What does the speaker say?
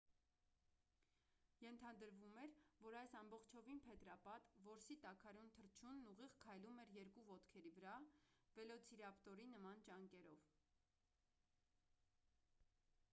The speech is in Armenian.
ենթադրվում էր որ այս ամբողջովին փետրապատ որսի տաքարյուն թռչունն ուղիղ քայլում էր երկու ոտքերի վրա վելոցիրապտորի նման ճանկերով